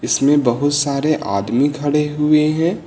इसमें बहुत सारे आदमी खड़े हुए हैं।